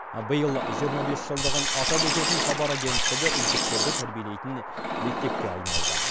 биыл жиырма бес жылдығын атап өтетін хабар агенттігі үздіктерді тәрбиелейтін мектепке айналды